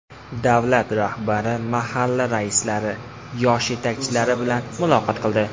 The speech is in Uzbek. Davlat rahbari mahalla raislari, yoshlar yetakchilari bilan muloqot qildi.